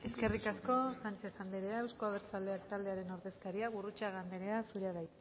eskerrik asko sánchez anderea euzko abertzaleak taldearen ordezkaria gurrutxaga anderea zurea da